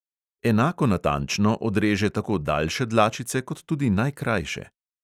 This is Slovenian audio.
Enako natančno odreže tako daljše dlačice kot tudi najkrajše.